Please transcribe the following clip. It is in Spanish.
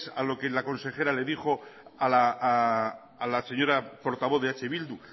a lo que la consejera le dijo a la señora portavoz de eh bildu